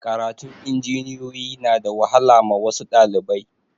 Karatun injiniyoyi na da wahala ma wasu ɗalibai